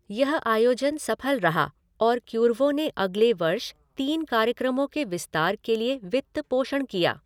यह आयोजन सफल रहा और क्यूर्वो ने अगले वर्ष तीन कार्यक्रमों के विस्तार के लिए वित्त पोषण किया।